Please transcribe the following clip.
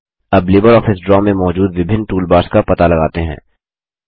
अब LibreOffice Draw में मौजूद विभिन्न टूलबार्स का पता लगाते हैं